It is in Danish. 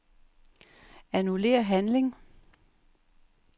Annullér handling.